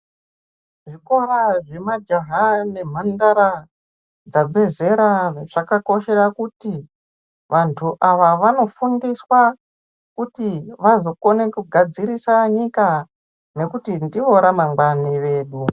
Zvikora zvemajaha nemhandara dzabve zera zvakakoshera kuti vantu ava vanofundiswa kuti vazokone kugadzirisa nyika ngekuti ndiro ramangwani redu.